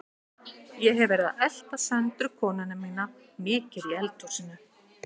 Ég hef verið að elta Söndru konuna mína mikið í eldhúsinu.